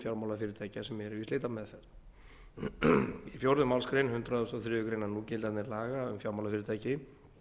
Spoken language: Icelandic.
fjármálafyrirtækja sem eru í slitameðferð í fjórðu málsgrein hundrað og þriðju grein núgildandi laga um fjármálafyrirtæki